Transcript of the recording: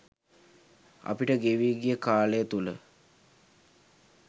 අපිට ගෙවී ගිය කාලය තුළ